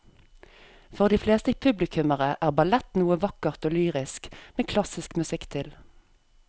For de fleste publikummere er ballett noe vakkert og lyrisk med klassisk musikk til.